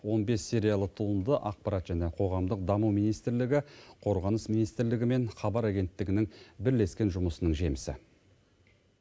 он бес сериялы туынды ақпарат және қоғамдық даму министрлігі қорғаныс министрілігі мен хабар агенттігінің бірлескен жұмысының жемісі